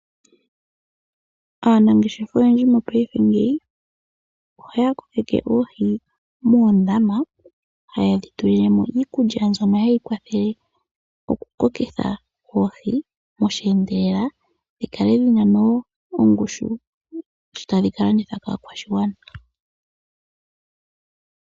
Aanangeshefa oyendji mopaife ngeyi ohaya kokeke oohi moondama, hayedhi tulilemo iikulya mbyono hayi kwathele okukokitha oohi osheendelela, dhi kale dhin' ongushu shi tadhi ka landithwa kaakwashigwana.